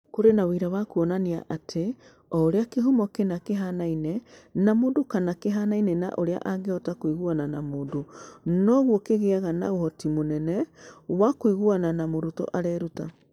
Kũrĩ na ũira wa kuonania atĩ o ũrĩa kĩhumo kĩna kĩhaanaine na mũndũ kana kĩhaanaine na ũrĩa angĩhota kũiguana na mũndũ, noguo kĩgĩaga na ũhoti mũnene wa kũiguana na mũrutwo areruta.